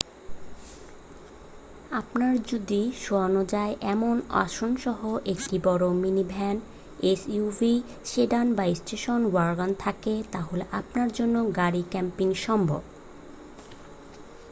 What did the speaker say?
আপনার যদি শোয়ানো যায় এমন আসনসহ একটি বড় মিনিভ্যান এসইউভি সেডান বা স্টেশন ওয়াগন থাকে তাহলে আপনার জন্য গাড়ি ক্যাম্পিং সম্ভব